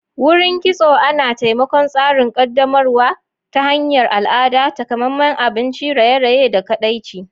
Wurin Kitso Ana taimakon tsarin ƙaddamarwa ta hanyar al'ada, takamaiman abinci, raye-raye, da kaɗaici.